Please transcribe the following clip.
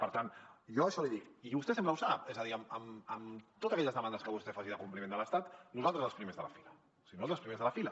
per tant jo això l’hi dic i vostè sempre ho sap és a dir en totes aquelles demandes que vostè faci de compliment de l’estat nosaltres els primers de la fila o sigui nosaltres els primers de la fila